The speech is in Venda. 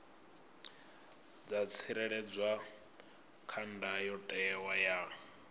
dza tsireledzwa kha ndayotewa ya